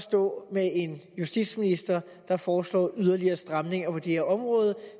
stå med en justitsminister der foreslår yderligere stramninger på det her område